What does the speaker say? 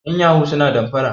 yan yahoo suna danfara